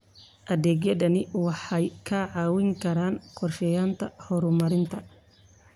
Adeegyadani waxay kaa caawin karaan qorsheynta horumarinta.